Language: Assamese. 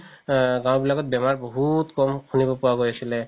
আ গাও বিলাকত বেমাৰ বহুত ক'ম শুনিব পোৱা গৈছিলে